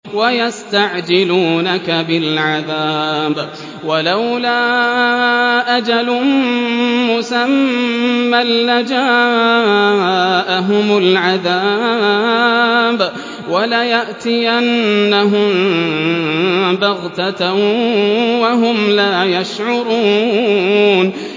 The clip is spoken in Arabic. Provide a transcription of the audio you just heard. وَيَسْتَعْجِلُونَكَ بِالْعَذَابِ ۚ وَلَوْلَا أَجَلٌ مُّسَمًّى لَّجَاءَهُمُ الْعَذَابُ وَلَيَأْتِيَنَّهُم بَغْتَةً وَهُمْ لَا يَشْعُرُونَ